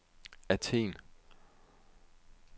Athen